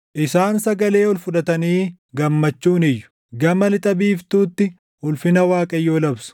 Isaan sagalee ol fudhatanii gammachuun iyyu; gama lixa biiftuutti ulfina Waaqayyoo labsu.